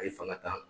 A ye fanga ta